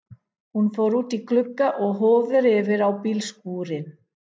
Hún fór út í glugga og horfði yfir á bílskúrinn.